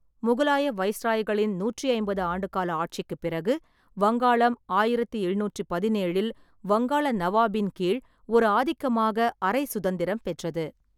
முகலாய வைஸ்ராய்களின் நூற்றி ஐம்பது ஆண்டுகால ஆட்சிக்குப் பிறகு, வங்காளம் ஆயிரத்து எழுநூற்றுப் பதினேழில் வங்காள நவாப்பின் கீழ் ஒரு ஆதிக்கமாக அரை சுதந்திரம் பெற்றது.